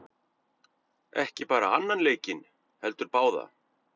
Ekki bara annan leikinn heldur báða!